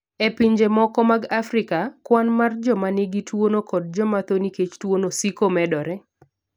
E pinje moko mag Afrika, kwan mar joma nigi tuwono kod joma tho nikech tuwono siko medore.